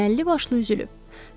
Əməlli başlı üzülüb.